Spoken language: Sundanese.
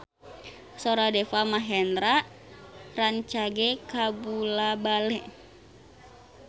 Sora Deva Mahendra rancage kabula-bale